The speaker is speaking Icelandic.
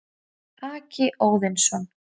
Haki Óðinsson,